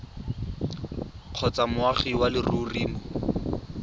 kgotsa moagi wa leruri mo